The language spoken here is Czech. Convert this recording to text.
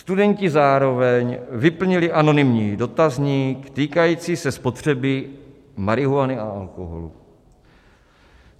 Studenti zároveň vyplnili anonymní dotazník týkající se spotřeby marihuany a alkoholu.